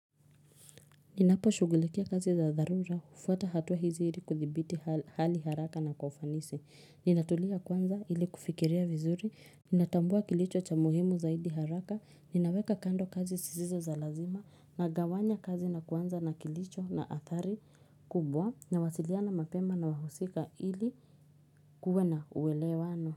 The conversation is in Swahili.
Ninapo shugulikia kazi za dharura, ufuata hatuwa hizi ili kuthibiti hali haraka na kwa ufanisi. Ninatulia kwanza ili kufikiria vizuri, ninatambua kilicho cha muhimu zaidi haraka, ninaweka kando kazi sisizo za lazima, nagawanya kazi na kwanza na kilicho na athari kubwa, nawasiliana mapema na wahusika ili kuwe na uwelewano.